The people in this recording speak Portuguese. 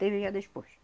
Teve já despois.